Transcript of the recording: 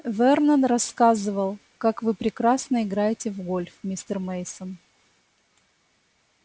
вернон рассказывал как вы прекрасно играете в гольф мистер мейсон